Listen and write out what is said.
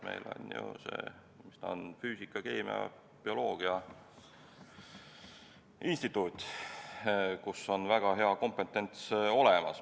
Meil on ju Keemilise ja Bioloogilise Füüsika Instituut, kus on väga hea kompetents olemas.